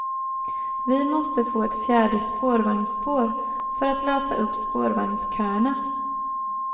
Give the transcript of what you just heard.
Vi måste få ett fjärde spårvagnsspår, för att lösa upp spårvagnsköerna.